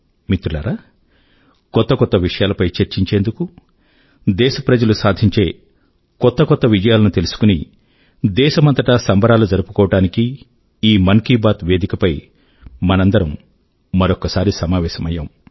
మిత్రులారా కొత్త కొత్త విషయాలపై చర్చించేందుకు దేశ ప్రజలు సాధించే కొత్త కొత్త విజయాల ను తెలుసుకుని దేశమంతటా సంబరాలు జరుపుకోవడానికీ ఈ మన్ కీ బాత్ వేదిక పై మనందరము మరొక్కసారి సమావేశమయ్యాము